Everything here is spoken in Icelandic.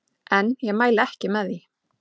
En ég mæli ekki með því.